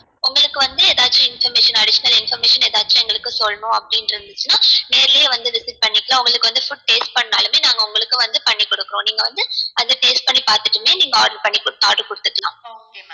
உங்களுக்கு வந்து எதாச்சும் information additional information எதாச்சு எங்களுக்கு சொல்லணும் அப்டின்னு இருந்துச்சுனா நேர்லயே வந்து visit பண்ணிகலாம் உங்களுக்கு வந்து food taste பண்ணனு நாளுமே நாங்க உங்களுக்கு வந்து பண்ணி குடுக்குறோம் நீங்க வந்து அத taste பண்ணி பாத்துட்டுமே நீங்க order பண்ணி குடுத்துக்கலாம்